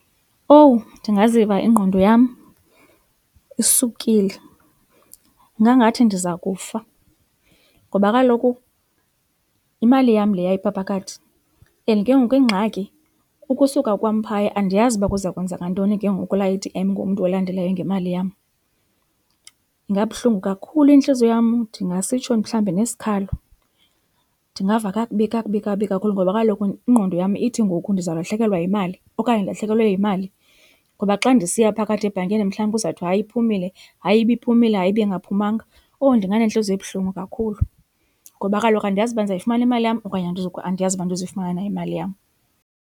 Owu ndingaziva ingqondo yam isukile. Ingangathi ndiza kufa ngoba kaloku imali yam leya ipha phakathi and ke ngoku ingxaki ukusuka kwam phaya andiyazi uba kuza kwenzeka ntoni ke ngoku kulaa A_T_M ngomntu olandelayo ngemali yam. Ingabuhlungu kakhulu intliziyo yam ndingasitsho mhlawumbi nesikhalo. Ndingava kakubi, kakubi, kakubi kakhulu ngoba kaloku ingqondo yam ithi ngoku ndizawulahlekelwa yimali okanye ndilahlekelwe yimali. Ngoba xa ndisiya phakathi ebhankini mhlawumbi kuzawuthwa hayi iphumile, hayi ibiphumile, hayi ibingaphumanga. Owu ndinganentliziyo ebuhlungu kakhulu ngoba kaloku andiyazi uba ndizayifumana imali yam okanye andiyazi uba andizuyifumana imali yam.